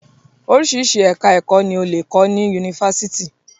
Oríṣiríṣi ẹka ẹ̀kọ́ ni o lè kọ́ ní yunifásítì.